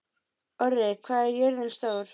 Orri, hvað er jörðin stór?